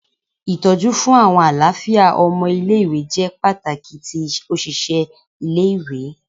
Itọju fun alafia awọn ọmọ ile-iwe jẹ pataki ti oṣiṣẹ ile-iwe